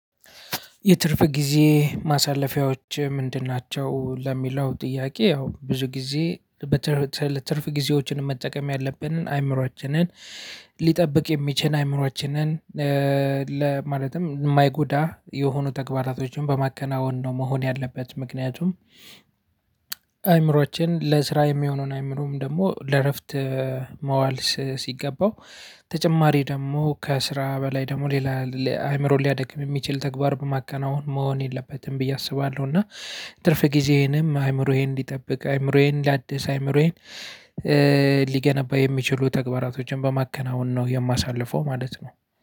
የትርፍ ጊዜ ማሳለፊያዎች ምንድን ናቸው? ለሚለው ጥያቄ ያው ብዙ ጊዜ ትርፍ ጊዜዎችን መጠቀም ያለብን አእምሮአችንን ሊጠብቅ የሚችል አእምሮአችንን ለ ማለትም ማይጎዳ የሆኑ ተግባራቶችን በማከናወን ነው። መሆን ያለበት ምክንያቱም አይምሮአችን ለስራ የሚሆነውን አይምሮም ደሞ ለእረፍት ማዋል ሲገባው ተጨማሪ ደሞ ከስራ በላይ ደሞ ሌላ አይምሮን ሊያደክም የሚችል ተግባር በማከናወን መሆን የለበትም ብዬ አስባለሁ። እና ትርፍ ጊዜዬንም አይምሮዬን እንዲጠብቅ አይምሮዬን ላድስ አይምሮዬን ሊገነባ የሚችሉ ተግባራቶችን በማከናወን ነው የማሳልፈው። ማለት ነው